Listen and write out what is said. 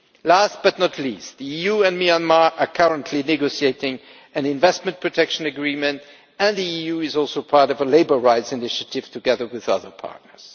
Last but not least, the EU and Myanmar are currently negotiating an investment protection agreement, and the EU is also part of a labour rights initiative, together with other partners.